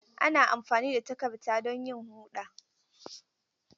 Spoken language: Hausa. Ana amfani da tarakta don yin huɗa.